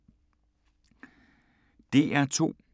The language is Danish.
DR2